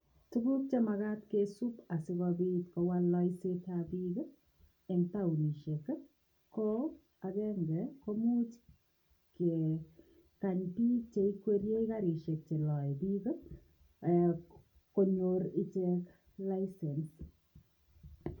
Tuguuk che magaat kisuup asikobiit kowal laiseet ab biik ii ko taunisheet ii ko agenge komuuch kegaany biik che ikwerie karisheek chebo konyoor icheek license.